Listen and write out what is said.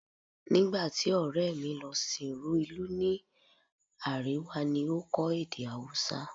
Nígbà tí ọ̀rẹ́ mi lọ sìnrú ìlú ní Árèwá ni ó kọ́ èdè Haúsá